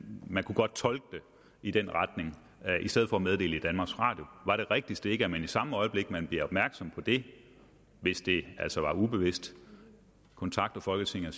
man kunne godt tolke det i den retning i stedet for at meddele det i danmarks radio var det rigtigste ikke at man i samme øjeblik man blev opmærksom på det hvis det altså var ubevidst kontaktede folketinget og